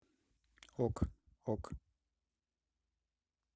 ок ок